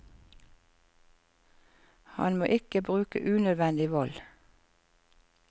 Han må ikke bruke unødvendig vold.